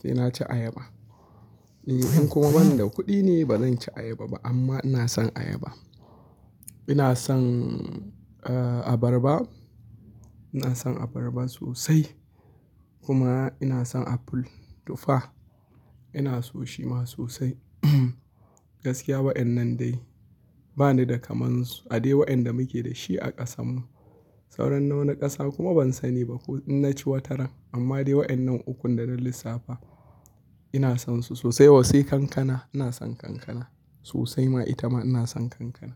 sai na ci ayaba. In kuma ban da kuɗi ne ba zanci ayaba ba amma ina son ayaba. Ina son, eh, abarba. Ina son abarba sosai kuma ina son apple, tufa. Ina so shi ma sosai. Gaskiya waɗannan dai ba ni da kamar su. Ade waɗanda muke da shi a ƙasanmu. Sauran nawani ƙasa kuma ban sani ba ko in na ci wataran amma dai waɗannan ukun da zan lissafa ina son su sosai. Toh sai kankana, ina son kankana sosai ma ita ma ina son kankana.